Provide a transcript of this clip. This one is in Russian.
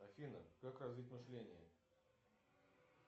афина как развить мышление